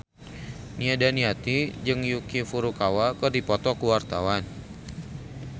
Nia Daniati jeung Yuki Furukawa keur dipoto ku wartawan